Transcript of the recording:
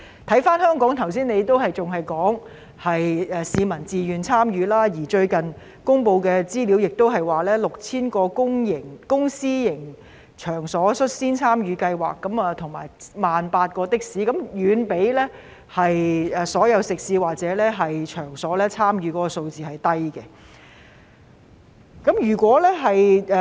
看回香港，局長剛才仍只是說市民是自願參與，而最近公布的資料顯示，超過10000個公私營場所已率先參與計劃，以及有18000多輛的士使用這個應用程式，但與總數相比，參與的食肆或場所的數字甚低。